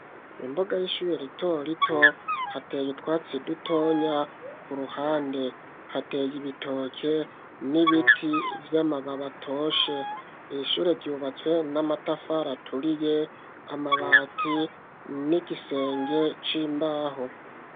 Imboga y'ishube ritorito hateye itwatsi dutonya ku ruhande hateye ibitoke n'ibiti vy'amababa atoshe ishure ryubatswe n'amatafara aturiye amabati n'igisenge c'imbaho.